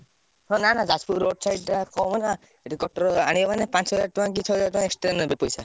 ନା ନା Jajpur road side ଟା କମ ନାଁ ପାଞ୍ଚ ହଜାର ଛଅ ହଜାର କି ଛ ହଜାର ଟଂକା extra ନେବେ ପଇସା।